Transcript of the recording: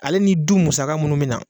Ale ni du musaka minnu mi na